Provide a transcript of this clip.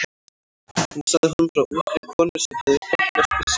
Hún sagði honum frá ungri konu sem hafði hlotnast blessun.